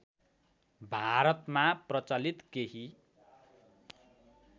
भारतमा प्रचलित केही